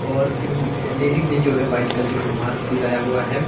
और इन लेडी ने जो है व्हाइट कलर का मास्क लगाया हुआ है।